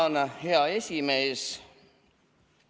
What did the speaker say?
Tänan, hea esimees!